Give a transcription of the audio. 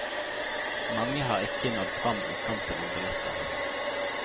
Mange har ikke nådd fram i kampen om billetter.